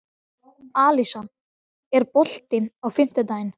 Alisa, er bolti á fimmtudaginn?